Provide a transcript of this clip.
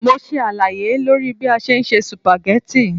Mo ṣe àlàyé lórí bí a ṣe ń se sùpàgẹ́tì.